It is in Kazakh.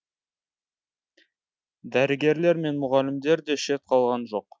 дәрігерлер мен мұғалімдер де шет қалған жоқ